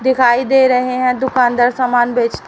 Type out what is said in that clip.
दिखाई दे रहे हैं दुकानदार सामान बेच--